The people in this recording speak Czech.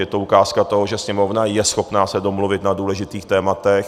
Je to ukázka toho, že Sněmovna je schopna se domluvit na důležitých tématech.